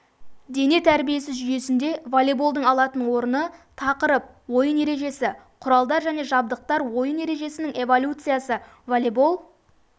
дене тәрбиесі жүйесінде волейболдың алатын орны тақырып ойын ережесі құралдар және жабдықтар ойын ережесінің эволюциясы волейбол